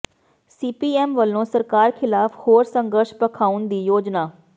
CPM ਵੱਲੋਂ ਸਰਕਾਰ ਖ਼ਿਲਾਫ਼ ਹੋਰ ਸੰਘਰਸ਼ ਭਖ਼ਾਉਣ ਦੀ ਯੋਜਨਾ